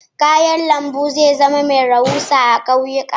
Kayan lambu zai zama mai rahusa a kauyuka.